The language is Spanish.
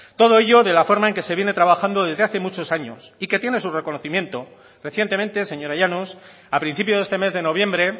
todo ello de la forma en que se viene trabajando desde hace muchos años y que tiene sus reconocimiento recientemente señora llanos a principio de este mes de noviembre